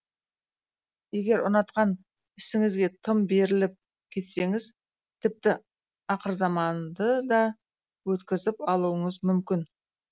егер ұнатқан ісіңізге тым беріліп кетсеңіз тіпті ақырзаманды да өткізіп алуыңыз мүмкін